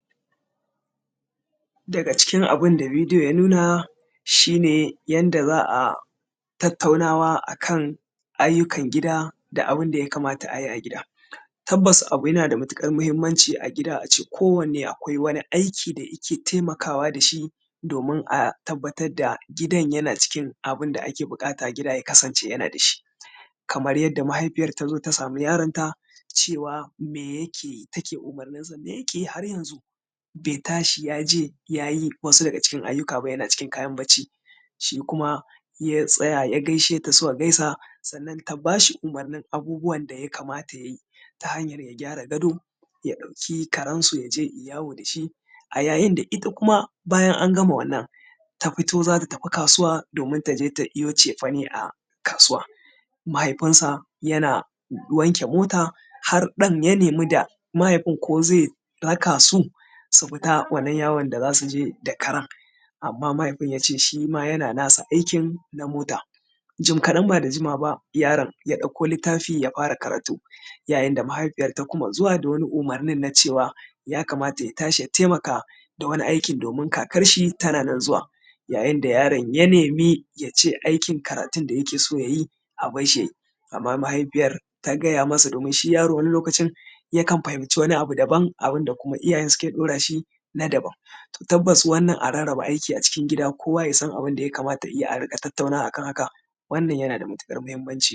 Daga cikin abin da video ya nuna, shi ne yanda za a tattaunawa akan ayyukan gida da abin da ya kamata a yi a gida. Tabbas abu yana da matuƙar mahimmanci a gida ce kowanne akwai wani aiki da ike taimakawa da shi domin a tabbatar da gidan yana cikin abin da ake buƙata gida ya kasance yana da shi. Kamar yadda mahaifiyar ta zo ta samu yaronta cewa me yake take umurninsa, me yake yi har yanzu bai ta shi ya je ya yi wasu daga cikin ayyuka ba yana cikin kayan bacci. Shi kuma ya tsaya ya gaishe ta, suka gaisa sannan ta ba shi umurnn abubuwan da ya kamata ya yi ta hanyar ya gyara gado, ya ɗauki karensu ya je ya yi yawo da shi. A yayin da ita kuma bayan an gama wannan, ta fito za ta tafi kasuwa domin ta je ta iwo cefane a kasuwa, mahaifinsa yana wanke mota, har ɗan ya nemi da mahaifin ko zai raka su su fita wannan yawon da za su je da karen, amma mahaifin ya ce shi ma yana nasa aikin na mota. Jim kaɗan ba da jimawa ba yaron ya ɗauko littafi ya fara karatu, yayin da mahaifiyar ta kuma zuwa da wani umurnin na cewa, ya kamata ya tashi ya taimaka da wani aikin domin kakar shi tana nan zuwa. Yayin da yaron ya nemi ya ce aiin karatun shi da yake so ya yi a barshi ya yi, amma mahaifiyar ta gaya ma sa domin shi yaro wani lokacin yakan fahimci wani abu daban abun da kuma su iyayen suke ɗora shin a daban. To tabbas wannan a rarraba aiki acikin gida kowa ya san abin da ya kamata ya yi a riƙa tattaunawa akan haka wannan yana da matuƙar mahimmanci.